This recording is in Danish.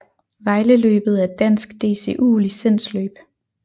Vejle Løbet er et dansk DCU licensløb